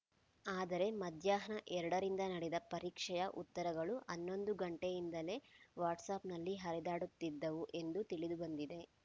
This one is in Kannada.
ಆದರೆ ಮಧ್ಯಾಹ್ನ ಎರಡರಿಂದ ನಡೆದ ಪರೀಕ್ಷೆಯ ಉತ್ತರಗಳು ಹನ್ನೊಂದು ಗಂಟೆಯಿಂದಲೇ ವಾಟ್ಸಾಪ್‌ನಲ್ಲಿ ಹರಿದಾಡುತ್ತಿದ್ದವು ಎಂದು ತಿಳಿದುಬಂದಿದೆ